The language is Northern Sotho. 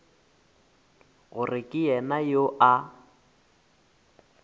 gore ke yena yo a